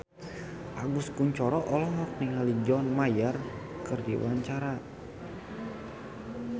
Agus Kuncoro olohok ningali John Mayer keur diwawancara